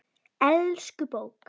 Elsku bók!